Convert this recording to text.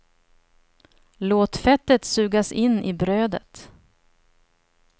Låt fettet sugas in i brödet.